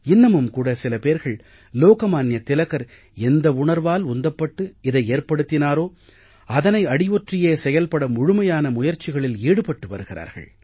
இன்னமும் கூட சில பேர்கள் லோகமான்ய திலகர் எந்த உணர்வால் உந்தப்பட்டு இதை ஏற்படுத்தினாரோ அதனை அடியொற்றியே செயல்பட முழுமையாக முயற்சிகளில் ஈடுபட்டு வருகிறார்கள்